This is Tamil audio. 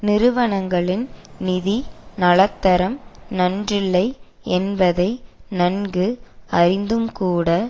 நிறுவனங்களின் நிதி நலத்தரம் நன்றில்லை என்பதை நன்கு அறிந்தும்கூட